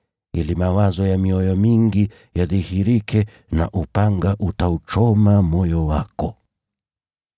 ili mawazo ya mioyo mingi yadhihirike. Nao upanga utauchoma moyo wako.”